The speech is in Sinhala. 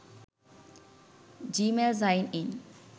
gmail sign in